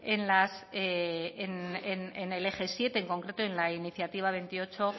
en el eje siete en concreto en la iniciativa veintiocho